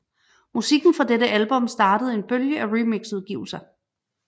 Musikken fra dette album startede en bølge af remixudgivelser